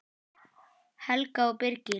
Helga og Birgir.